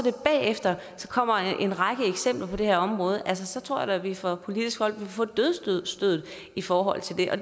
bagefter kommer en række eksempler på det her område så tror at vi fra politisk hold vil få dødsstødet i forhold til det og